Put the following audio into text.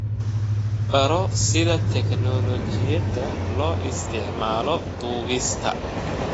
Baro sida tignoolajiyada loo isticmaalo duubista.